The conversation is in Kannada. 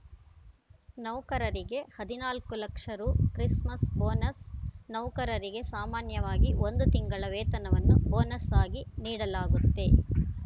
ನೌಕರರಿಗೆ ಹದಿನಾಲ್ಕು ಲಕ್ಷ ರು ಕ್ರಿಸ್‌ಮಸ್‌ ಬೋನಸ್‌ ನೌಕರರಿಗೆ ಸಾಮಾನ್ಯವಾಗಿ ಒಂದು ತಿಂಗಳ ವೇತನವನ್ನು ಬೋನಸ್‌ ಆಗಿ ನೀಡಲಾಗುತ್ತೆ